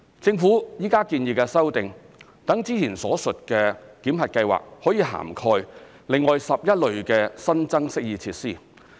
政府現在建議的修訂，讓之前所述的檢核計劃可以涵蓋另外11類新增適意設施。